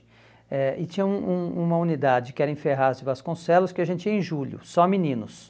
Eh e tinha um um uma unidade que era em Ferraz de Vasconcelos que a gente ia em julho, só meninos.